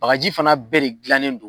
Bakaji fana bɛɛ de gilannen don.